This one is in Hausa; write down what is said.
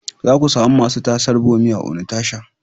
Za ku sami masu tasar bommi a Onitsha.